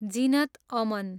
Zeenat Aman